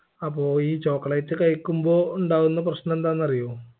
അപ്പൊ ഈ chocolate കഴിക്കുമ്പോ ഉണ്ടാവുന്ന പ്രശ്നം എന്താന്ന് അറിയോ